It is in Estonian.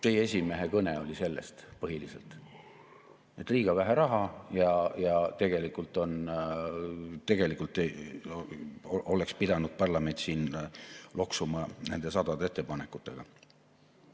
Teie esimehe kõne oli põhiliselt sellest, et liiga vähe raha ja tegelikult oleks pidanud parlament siin loksuma nende sadade ettepanekutega.